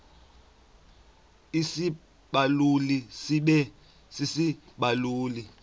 isibaluli sibe sisibaluli